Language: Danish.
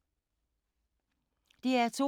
DR2